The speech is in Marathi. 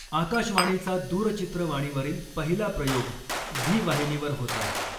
आकाशवाणीचा दूरचित्रवाणीवरील पहिला प्रयोग झी वाहिनीवर होता.